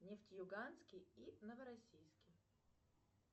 нефтеюганский и новороссийский